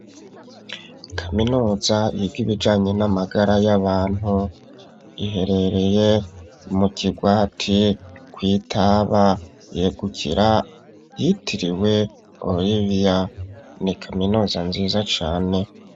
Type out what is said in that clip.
Kaminuza yiga ibijanye n'amagara y'abantu iherereye mu kigwati kw'itaba yegukira yitiriwe Olivia ni kaminuza nziza cane.